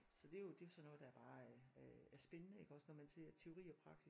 Så det jo det jo sådan noget der bare øh er spændende når man ser teori og praksis